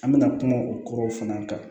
An bɛna kuma o kɔrɔ fana kan